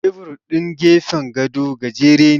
Tebur ɗin gefen gado gajere ne.